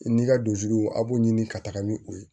N'i ka dusu a b'u ɲini ka taga ni o ye